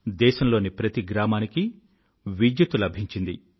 దేశంలోని ప్రతి గ్రామానికీ విద్యుత్తు లభించింది